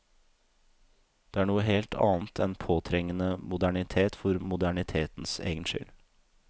Det er noe helt annet enn påtrengende modernitet for modernitetens egen skyld.